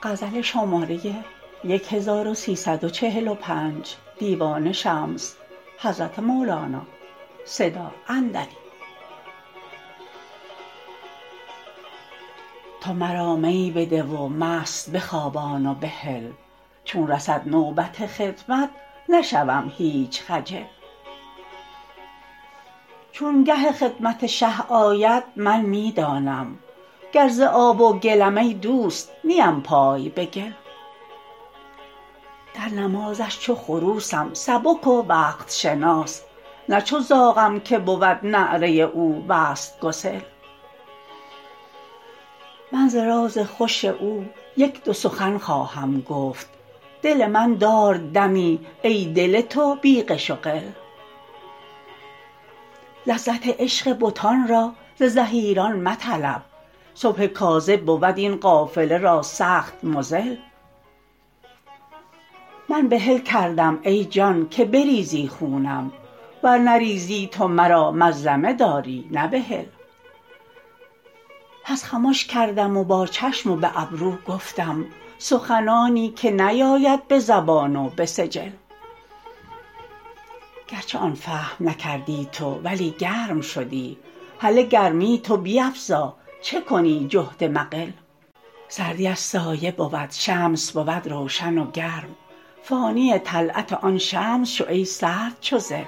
تو مرا می بده و مست بخوابان و بهل چون رسد نوبت خدمت نشوم هیچ خجل چو گه خدمت شه آید من می دانم گر ز آب و گلم ای دوست نیم پای به گل در نمازش چو خروسم سبک و وقت شناس نه چو زاغم که بود نعره او وصل گسل من ز راز خوش او یک دو سخن خواهم گفت دل من دار دمی ای دل تو بی غش و غل لذت عشق بتان را ز زحیران مطلب صبح کاذب بود این قافله را سخت مضل من بحل کردم ای جان که بریزی خونم ور نریزی تو مرا مظلمه داری نه بحل پس خمش کردم و با چشم و به ابرو گفتم سخنانی که نیاید به زبان و به سجل گرچه آن فهم نکردی تو ولی گرم شدی هله گرمی تو بیفزا چه کنی جهد مقل سردی از سایه بود شمس بود روشن و گرم فانی طلعت آن شمس شو ای سرد چو ظل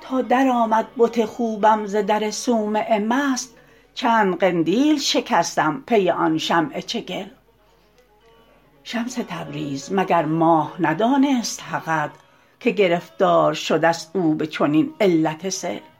تا درآمد بت خوبم ز در صومعه مست چند قندیل شکستم پی آن شمع چگل شمس تبریز مگر ماه ندانست حقت که گرفتار شدست او به چنین علت سل